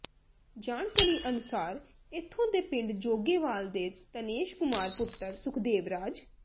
ਜਾਣਕਾਰੀ ਅਨੁਸਾਰ ਇੱਥੋਂ ਦੇ ਪਿੰਡ ਜੋਗੇਵਾਲ ਦੇ ਤਨੇਸ਼ ਕੁਮਾਰ ਪੁੱਤਰ ਸੁਖਦੇਵ ਰਾਜ